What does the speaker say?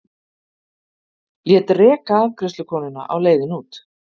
Lét reka afgreiðslukonuna á leiðinni út.